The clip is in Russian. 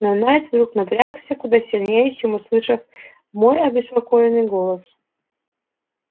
но найд вдруг напрягся куда сильнее чем услышав мой обеспокоенный голос